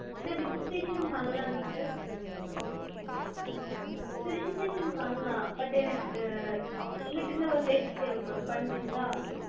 sir registration பண்லாங்க sir. sir registration பண்லாம். but எனக்கு உங்ககிட்ட இருந்து ஒரு help தேவைப்படும் பண்றிங்களா?